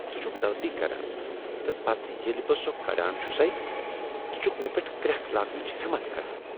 ژٕ چکھ غلطی کران تہٕ پتہٕ ییلہٕ بہٕ سۄ کڑان چھسے ژٕ چھکھ مےٚ پیٹھ کرٛیکھ لاگنٕچ ہمت کران۔